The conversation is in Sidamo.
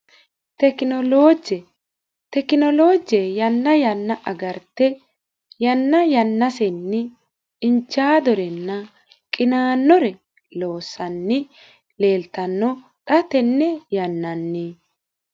Tekinolooje yanna yanna agarte yanna yannasenni iinjaadorenna qinaannore loossanni leeltanno xa tenne yannann.